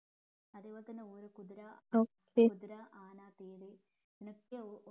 അതെ പോലെ തന്നെ ഒരേ കുതിര കുതിര ആന തേര് ഇങ്ങനൊക്കെ